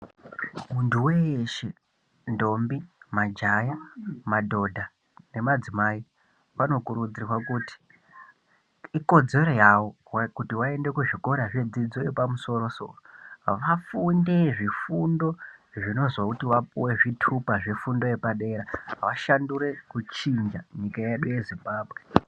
Muntu weshe ntombi, majaha, madzimai nemadhodha vanokurudzirwa kuti ikodzero yavo kuti vaende kuzvikora zvedzidzo yepamusoro soro vafunde zvifundo zvinozoti vapuwe zvitupa zvefundo yepadera vashandure kuchinja nyika yedu yeZimbabwe.